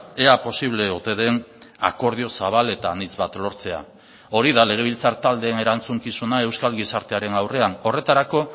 ea posible ote den akordio zabal eta anitz bat lortzea hori da legebiltzar taldeen erantzukizuna euskal gizartearen aurrean horretarako